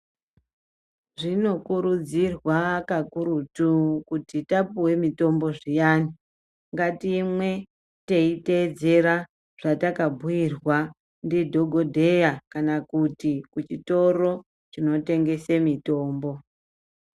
Zvinokurudzirwa kakurutu kuti tapuwe mutombo zviyani ngatimwe teiteedzera zvatakabhuyirwa ndidhogodheya kana kuti kuchitoro chinotengese mitombo.